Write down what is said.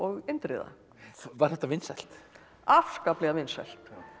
Indriða var þetta vinsælt afskaplega vinsælt